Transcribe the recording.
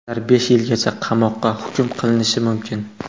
Ular besh yilgacha qamoqqa hukm qilinishi mumkin.